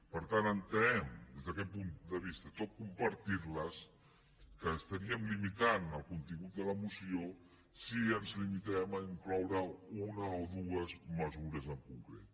per tant entenem des d’aquest punt de vista tot i compartir les que estaríem limitant el contingut de la moció si ens limitem a incloure una o dues mesures en concret